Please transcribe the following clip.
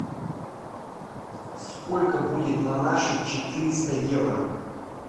сколько будет на наши четыреста евро